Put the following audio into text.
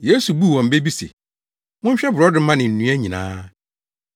Yesu buu wɔn bɛ bi se, “Monhwɛ borɔdɔma ne nnua nyinaa.